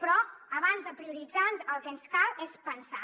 però abans de prioritzar el que ens cal és pensar